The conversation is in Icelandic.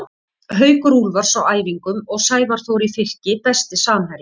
Haukur Úlfars á æfingum og Sævar Þór í Fylki Besti samherjinn?